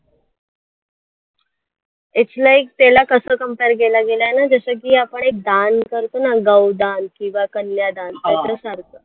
इथल्या एक त्याला कसं compare केलं गेलंय ना जसं की आपण एक दान करतो ना गौदान किंवा कन्यादान त्याच्यासारखं